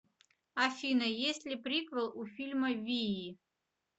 афина есть ли приквел у фильма вии